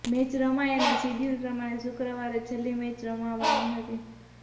match રમાઇ અને schedule પ્રમાણે શુક્રવારે છેલ્લી મેચ રમાવાની હતી